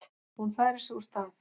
Hún færir sig úr stað.